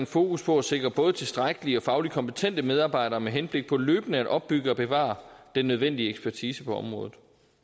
fokus på at sikre både tilstrækkelige og fagligt kompetente medarbejdere med henblik på løbende at opbygge og bevare den nødvendige ekspertise på området